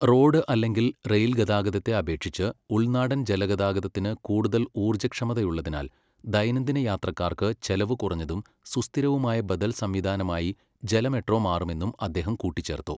Road അല്ലെങ്കിൽ rail ഗതാഗതത്തെ അപേക്ഷിച്ച് ഉൾനാടൻ ജലഗതാഗതത്തിന് കൂടുതൽ ഊർജ്ജക്ഷമതയുള്ളതിനാൽ ദൈനംദിന യാത്രക്കാർക്ക് ചെലവ് കുറഞ്ഞതും സുസ്ഥിരവുമായ ബദൽ സംവിധാനമായി ജല മെട്രോ മാറുമെന്നും അദ്ദേഹം കൂട്ടിച്ചേർത്തു.